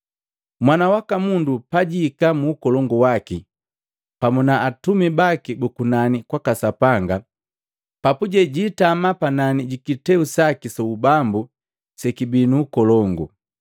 “Mwana waka Mundu pajihika mu ukolongu waki pamu na atumi baki bu kunani kwaka Sapanga, papuje jiitama panani ji kiteu saki su ubambu sekibii nu ukolongu.